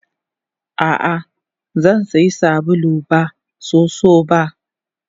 Ah ah Zansiya sabulu ba soso ba.